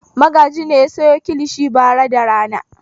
Magaji ne ya sayo kilishi bara da rana.